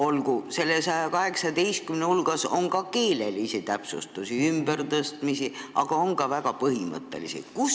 Olgu, nende 118 hulgas on ka keelelisi täpsustusi ja ümbertõstmisi, aga on ka väga põhimõttelisi ettepanekuid.